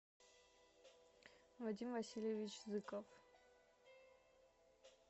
вадим васильевич зыков